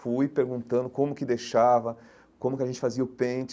Fui perguntando como que deixava, como que a gente fazia o pente.